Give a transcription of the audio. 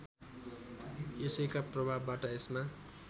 यसैका प्रभावबाट यसमा